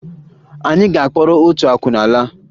Anyị ga-akpọrọ otu akwụna laa